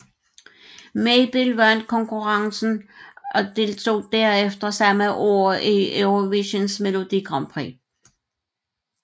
Mabel vandt konkurrencen og deltog derfor samme år i Eurovisionens Melodi Grand Prix